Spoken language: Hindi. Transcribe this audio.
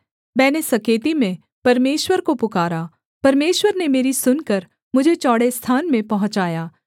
मैंने सकेती में परमेश्वर को पुकारा परमेश्वर ने मेरी सुनकर मुझे चौड़े स्थान में पहुँचाया